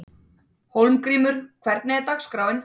Hólmgrímur, hvernig er dagskráin?